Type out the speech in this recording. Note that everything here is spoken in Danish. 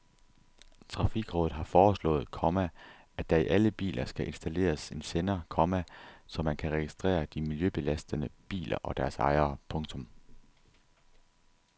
Trafikrådet har foreslået, komma at der i alle biler skal installeres en sender, komma så man kan registrere de miljøbelastende biler og deres ejere. punktum